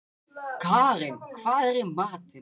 Karin, hvað er í matinn?